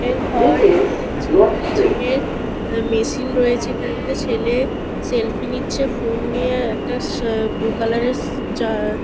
এর ঘর এখানে অনেক জি জিম এর উম মেশিন রয়েছে। এখানে একটা ছেলে সেলফি নিচ্ছে ফোন নিয়ে আর একটা শ ব্লু কালার এর যা- আ--